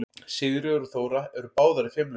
Sigríður og Þóra eru báðar í fimleikum.